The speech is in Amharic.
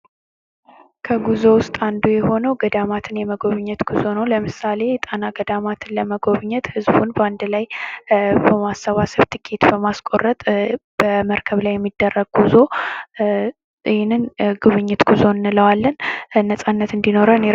ከጉዞ ውስጥ አንዱ የሆነው ገዳማትን የመጎብኝት ጉዞ ነው ። ለምሳሌ የጣና ገዳማትን ለመጎብኘት ህዝቡን በአንድ ላይ በማሰባሰብ ትኬት በማስቆረጥ በመርከብ ላይ የሚደረግ ጉዞ ይህንን ጉብኝት ጉዞ እንለዋለን ነፃነት እንዲኖረን ።